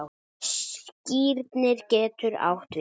Skírnir getur átt við